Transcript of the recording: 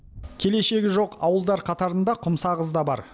келешегі жоқ ауылдар қатарында құмсағыз да бар